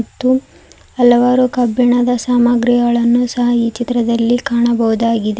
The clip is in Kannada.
ಮತ್ತು ಹಲವಾರು ಕಬ್ಬಿಣದ ಸಾಮಾಗ್ರಿಗಳನ್ನು ಸಹ ಈ ಚಿತ್ರದಲ್ಲಿ ಕಾಣಬಹುದಾಗಿದೆ.